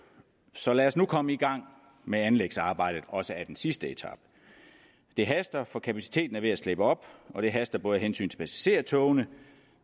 så lad os nu komme i gang med anlægsarbejdet også af den sidste etape det haster for kapaciteten er ved at slippe op og det haster ikke bare af hensyn til passagertogene